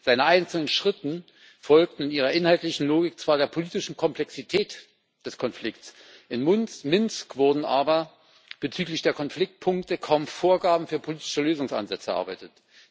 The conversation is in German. Seine einzelnen Schritte folgten in ihrer inhaltlichen Logik zwar der politischen Komplexität des Konflikts, in Minsk wurden aber bezüglich der Konfliktpunkte kaum Vorgaben für politische Lösungsansätze erarbeitet.